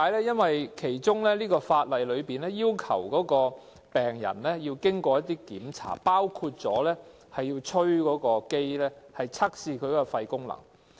因為法例要求病人必須通過一些檢查，包括要向機器吹氣，測試其肺功能。